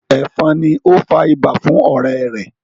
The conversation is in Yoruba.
efon ní o fà ibà fún ọrẹ rè